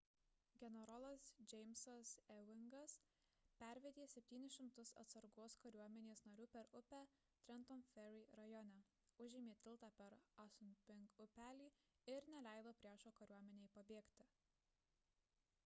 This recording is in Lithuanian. generolas jamesas ewingas pervedė 700 atsargos kariuomenės narių per upę trenton ferry rajone užėmė tiltą per assunpink upelį ir neleido priešo kariuomenei pabėgti